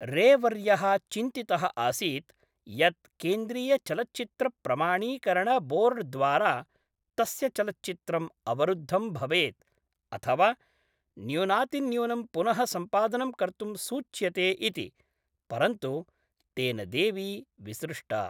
रे वर्यः चिन्तितः आसीत् यत् केन्द्रीयचलच्चित्रप्रमाणीकरणबोर्ड्द्वारा तस्य चलच्चित्रम् अवरुद्धं भवेत्, अथवा न्यूनातिन्यूनं पुनः सम्पादनं कर्तुं सूच्यते इति, परन्तु तेन देवी विसृष्टा।